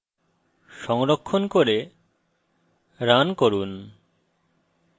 সংরক্ষণ করে run run